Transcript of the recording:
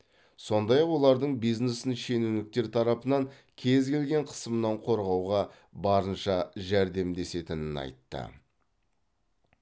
сондай ақ олардың бизнесін шенеуніктер тарапынан кез келген қысымнан қорғауға барынша жәрдемдесетінін айтты